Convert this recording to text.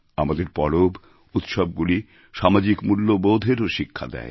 আমাদের পরব উৎসবগুলি সামাজিক মূল্যেবোধেরও শিক্ষা দেয়